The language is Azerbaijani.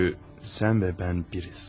Çünki sən və mən birik.